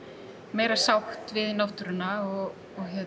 meiri sátt við náttúruna og